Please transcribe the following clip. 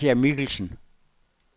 Nadja Michelsen